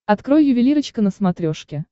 открой ювелирочка на смотрешке